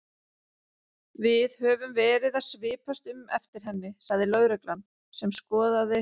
Við höfum verið að svipast um eftir henni sagði lögreglan sem skoðaði